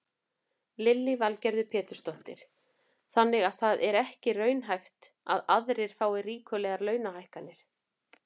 Lillý Valgerður Pétursdóttir: Þannig að það er ekki raunhæft að aðrir fái ríkulegar launahækkanir?